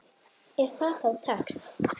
Ef það þá tekst.